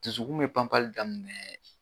Dusukun be panpali daminɛɛ